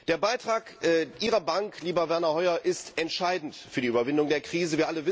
Der Beitrag Ihrer Bank, lieber Werner Hoyer, ist entscheidend für die Überwindung der Krise.